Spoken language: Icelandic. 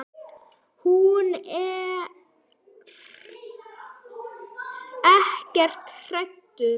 Þú ert ekkert hættur?